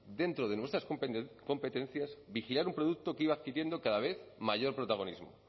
dentro de nuestras competencias vigilar un producto que iba adquiriendo cada vez mayor protagonismo